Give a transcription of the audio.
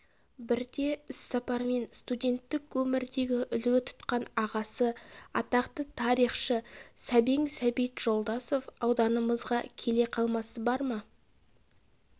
бірде іссапармен студенттік өмірдегі үлгі тұтқан ағасы атақты тарихшы сәбең сәбит жолдасов ауданымызға келе қалмасы бар ма